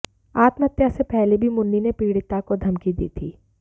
आत्महत्या से पहले भी मुन्नी ने पीड़िता को धमकी दी थी